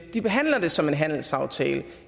de behandler det som en handelsaftale